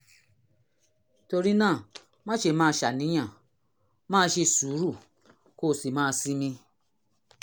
torí náà má ṣe máa ṣàníyàn máa ṣe sùúrù kó o sì máa sinmi